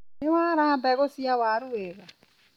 Nĩ wara mbegũ cia waru wega.